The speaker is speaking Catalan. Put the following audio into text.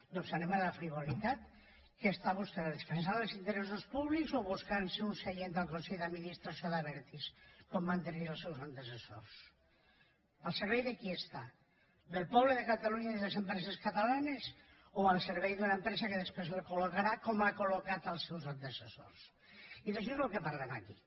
doncs anem a la frivolitat què està vostè defensant els interessos públics o buscant se un seient al consell d’administració d’abertis com van tenir els seus antecessors al servei de qui està del poble de catalunya i de les empreses catalanes o al servei d’una empresa que després el colseus antecessors i d’això és del que parlem aquí